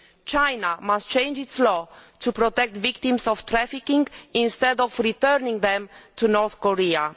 China must change its law to protect the victims of trafficking instead of returning them to North Korea.